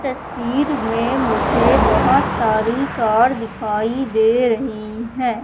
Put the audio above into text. तस्वीर में मुझे बहोत सारी कार दिखाई दे रही हैं।